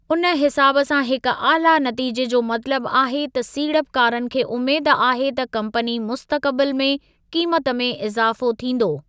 उन हिसाबु सां हिक आला नतीजे जो मतलबु आहे त सीड़पकारन खे उमेद आहे त कम्पनी मुस्तक़बिलु में क़ीमत में इज़ाफ़ो थींदो।